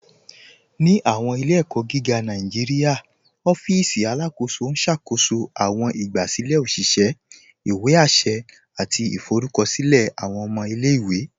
Ni awọn ilẹ̀-ẹ̀kọ̀ giga Nàìjíríà, òfìsì Alákóso n ṣákóṣó awọn ìgbàsílẹ̀ òṣìṣẹ̀, ìwé àṣẹ̀, àti ìfọ̀rùkọ̀ṣílẹ̀ awọn ọmọ ilẹ̀-iwe.